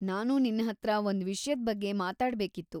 ನಾನು ನಿನ್ಹತ್ರ ಒಂದ್ ವಿಷ್ಯದ್ ಬಗ್ಗೆ ಮಾತಾಡ್ಬೇಕಿತ್ತು.